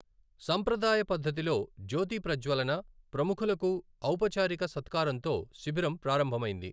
సంప్రదాయ పద్ధతిలో జ్యోతి ప్రజ్వలన, ప్రముఖులకు ఔపచారిక సత్కారంతో శిబిరం ప్రారంభమైంది.